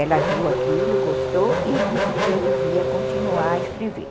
Ela viu aquilo, gostou e disse que eu devia continuar a escrever.